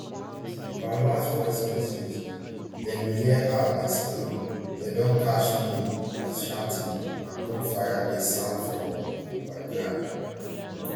for her last voice message dem hear her dey scream dem don catch me as shouting and gunfire dey sound for di background